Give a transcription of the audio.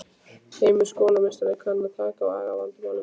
Heimir: Skólameistari kann að taka á agavandamálum?